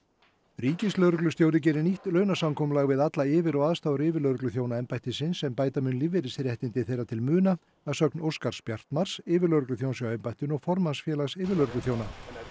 ríkislögreglustjóri gerði nýtt við alla yfir og aðstoðaryfirlögregluþjóna embættisins sem bæta mun lífeyrisréttindi þeirra til muna að sögn Óskars Bjartmarz yfirlögregluþjóns hjá embættinu og formanns Félags yfirlögregluþjóna